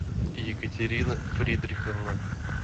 екатерина фридриховна